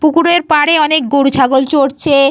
পুকুরের পারে অনেক গরুছাগল চরছে।